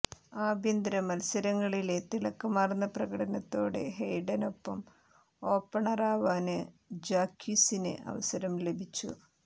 ആഭ്യന്തര മത്സരങ്ങളിലെ തിളക്കമാര്ന്ന പ്രകടനത്തോടെ ഹെയ്ഡനൊപ്പം ഓപ്പണറാവാന് ജാക്വിസിന് അവസരം ലഭിച്ചു